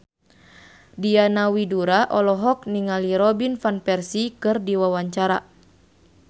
Diana Widoera olohok ningali Robin Van Persie keur diwawancara